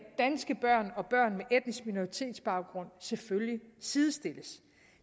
danske børn og børn med etnisk minoritets baggrund selvfølgelig sidestilles